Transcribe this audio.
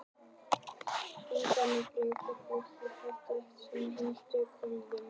Eigum við ekki frekar að flokka þetta undir heimamenn og aðkomumenn?